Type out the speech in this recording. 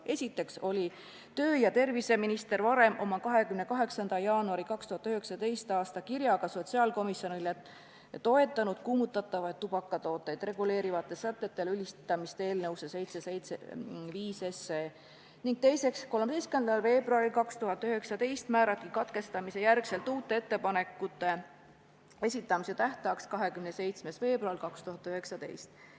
Esiteks oli tervise- ja tööminister varem, 28. jaanuaril 2019 sotsiaalkomisjonile saadetud kirjas toetanud kuumutatavaid tubakatooteid reguleerivate sätete lülitamist eelnõusse 775 ning teiseks määrati 13. veebruaril 2019 pärast lugemise katkestamist uute ettepanekute esitamise tähtajaks 27. veebruar 2019.